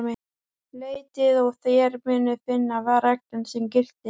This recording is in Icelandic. Leitið og þér munuð finna, var reglan sem gilti.